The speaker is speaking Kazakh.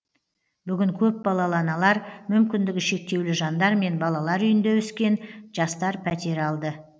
бүгін көпбалалы аналар мүмкіндігі шектеулі жандар мен балалар үйінде өскен жастар пәтер алды